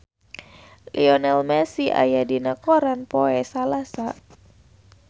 Lionel Messi aya dina koran poe Salasa